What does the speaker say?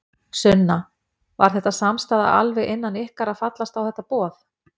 Sunna: Var þetta samstaða alveg innan ykkar að fallast á þetta boð?